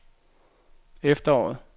efteråret